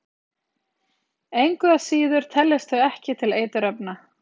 engu að síður teljast þau ekki til eiturefna